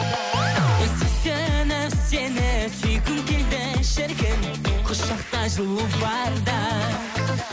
сүйсініп сені сүйгім келді шіркін құшақта жылу барда